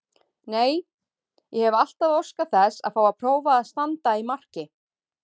Nei, ég hef alltaf óskað þess að fá að prófa að standa í marki.